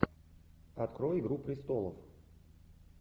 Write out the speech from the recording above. открой игру престолов